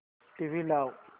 TV लाव